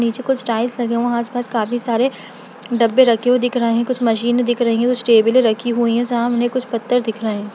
निचे कुछ टाइल्स लगे हैं वहाँ आसपास काफी सारे डब्बे रखे हुए दिख रहें हैं। कुछ मशीन दिख रही है कुछ टेबलें रखे हुई हैं जहाँ उन्हें कुछ पत्थर दिख रहें हैं।